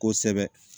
Kosɛbɛ